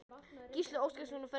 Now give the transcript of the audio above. Gísli Óskarsson: Og ferðin hingað?